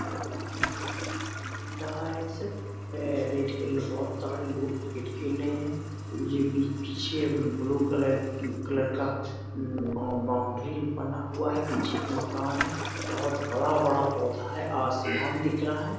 ground है यहाँ cricket खेल रहा है सब ए बहुत सारे लोग क्रिकेट खेल रहे है ये बीच पीछे ब्लू कलर कलर का ऊं बौं बाउंड्री बना हुआ है पीछे एक मकान है बहुत बड़ा-बड़ा पौधा है आसियान दिख रहा है |